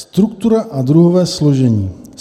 Struktura a druhové složení.